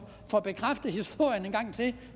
få bekræftet historien en gang til